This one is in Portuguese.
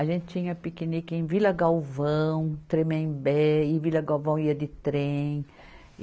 A gente tinha piquenique em Vila Galvão, Tremembé, e em Vila Galvão ia de trem.